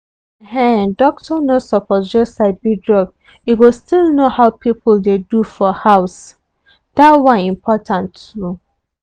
ehndoctor no suppose just sabi drug e go still know how people dey do for house. that one important too.